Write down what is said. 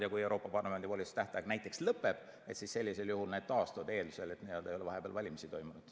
Ja kui Euroopa Parlamendi volituste tähtaeg näiteks lõpeb, siis sellisel juhul need taastuvad, eeldusel, et vahepeal ei ole valimisi toimunud.